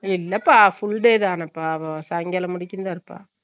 இல்லபா fullday தான பா அவ சங்காலாம் வரைக்கும் தா இருப்பா